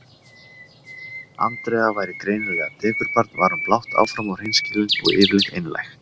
Andrea væri greinilega dekurbarn var hún blátt áfram og hreinskilin og yfirleitt einlæg.